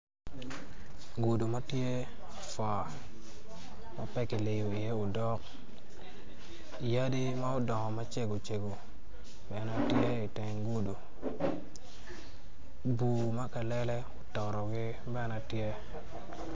Gudu matye fot ma pe kiliyo iye odok yadi ma odongo macego cego bene tye iteng gudu bur ma kalele ototogi bene ma tye